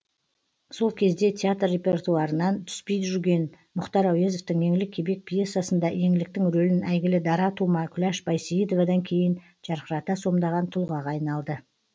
сол кезде театр репертуарынан түспей жүрген мұхтар әуезовтің еңлік кебек пьесасында еңліктің рөлін әйгілі дара тума күляш байсейітовадан кейін жарқырата сомдаған тұлғаға айналды